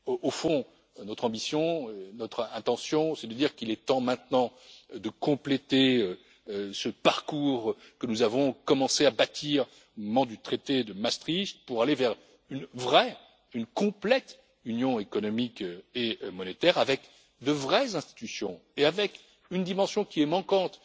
Au fond, notre ambition et notre intention, c'est de dire qu'il est temps maintenant de compléter ce parcours que nous avons commencé à bâtir au moment du traité de Maastricht pour aller vers une véritable et complète Union économique et monétaire avec de vraies institutions et avec une dimension qui est manquante